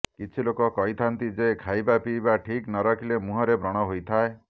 କିଛି ଲୋକ କହିଥାନ୍ତି ଯେ ଖାଇବା ପିଇବା ଠିକ୍ ନ ରଖିଲେ ମୁହଁରେ ବ୍ରଣ ହୋଇଥାଏ